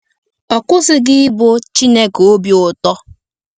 Ọ kwụsịghị ịbụ “Chineke obi ụtọ.”